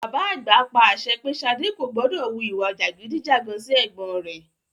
Bàbá àgbà pa àṣẹ pé Ṣadé kò gbọdọ̀ wu ìwà jàgídí-jàgan sí ẹ̀gbọ́n rẹ.